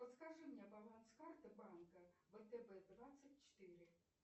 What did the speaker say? подскажи мне баланс карты банка втб двадцать четыре